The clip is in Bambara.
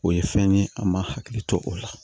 O ye fɛn ye an ma hakili to o la